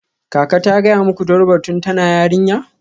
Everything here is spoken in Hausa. Kaka ta gaya muku Durbar tun tana yarinya?